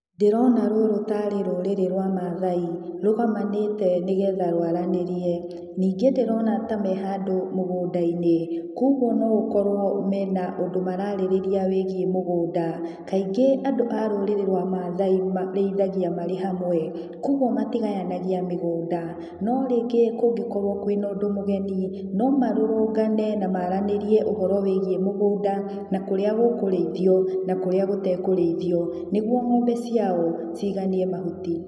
Ndĩrona rũrũ ta arĩ rũrĩrĩ rwa maathai rũgomanĩte nĩ getha rũaranĩrie. Ningĩ ndĩrona ta me handũ mũgũnda-inĩ, kwoguo no ũkorũo me na ũndũ maraarĩrĩria wĩgiĩ mũgũnda. Kaingĩ andũ a rũrĩrĩ rwa maathai marĩithagia marĩ hamwe, kwoguo matĩgayanagia mĩgũnda, no rĩngĩ kũngĩkorũo kwĩ na ũndũ mũgeni, no marũrũngane na maaranĩrie ũhoro wĩgiĩ mũgũnda na kũrĩa gũkũrĩithio na kũrĩa gũtekũrĩithio, nĩguo ng'ombe ciao cĩiganie mahuti.